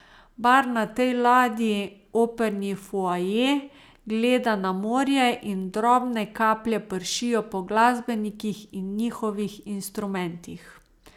Bar na tej ladji, operni foaje, gleda na morje in drobne kaplje pršijo po glasbenikih in njihovih instrumentih.